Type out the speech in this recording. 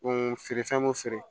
feerefɛn me feere